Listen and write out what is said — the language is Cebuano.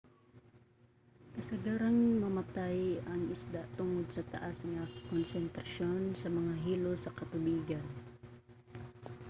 kasagarang mamatay ang isda tungod sa taas nga konsentrasyon sa mga hilo sa katubigan